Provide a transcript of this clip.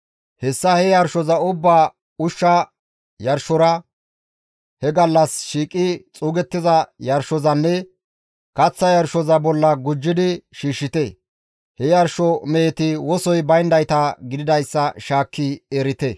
Hessa he yarshoza ubbaa ushsha yarshora, he gallas shiiqi xuugettiza yarshozanne kaththa yarshoza bolla gujjidi shiishshite; he yarsho meheti wosoy bayndayta gididayssa shaakki erite.